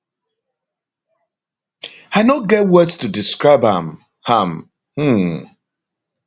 i no get words to describe am am um